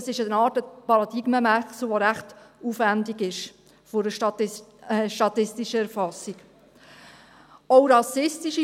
Das ist eine Art Paradigmenwechsel bei der statistischen Erfassung, die recht aufwendig ist.